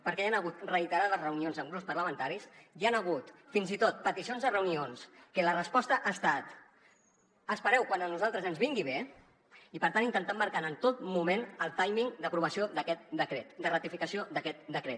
perquè hi han hagut reiterades reunions amb grups parlamentaris hi han hagut fins i tot peticions de reunions que la resposta ha estat espereu quan a nosaltres ens vingui bé i per tant intentant marcar en tot moment el timing d’aprovació d’aquest decret de ratificació d’aquest decret